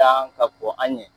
dan ka kɔn an ɲɛn.